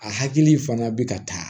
A hakili fana bɛ ka taa